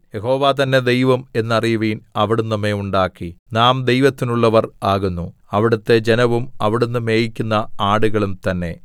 യഹോവ തന്നെ ദൈവം എന്നറിയുവിൻ അവിടുന്ന് നമ്മെ ഉണ്ടാക്കി നാം ദൈവത്തിനുള്ളവർ ആകുന്നു അവിടുത്തെ ജനവും അവിടുന്ന് മേയിക്കുന്ന ആടുകളും തന്നെ